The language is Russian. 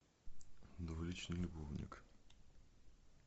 двуличный любовник